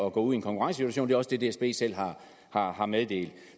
at gå ud i en konkurrencesituation det er også det dsb selv har har meddelt